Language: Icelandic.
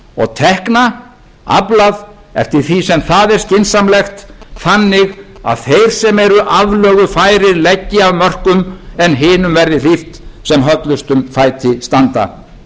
og tekna aflað eftir því sem það er skynsamlegt þannig að þeir sem eru aflögufærir leggi af mörkum en hinum verði hlíft sem höllustum fæti standa verkefnið er vissulega ærið